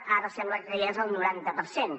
ara sembla que ja és el noranta per cent